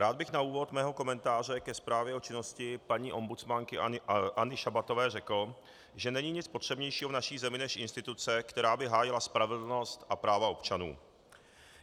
Rád bych na úvod svého komentáře ke zprávě o činnosti paní ombudsmanky Anny Šabatové řekl, že není nic potřebnějšího v naší zemi než instituce, která by hájila spravedlnost a práva občanů.